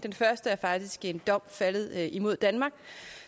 den første er faktisk en dom faldet imod danmark